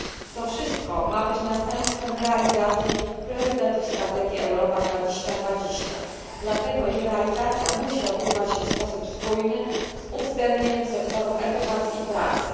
To wszystko ma być następstwem realizacji priorytetów strategii Europa 2020, dlatego ich realizacja musi odbywać się w sposób spójny, z uwzględnieniem sektorów edukacji i pracy.